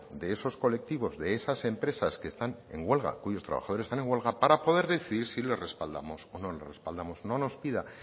de esos colectivos de esas empresas que están en huelga cuyos trabajadores están en huelga para poder decidir si les respaldamos o no les respaldamos no nos pida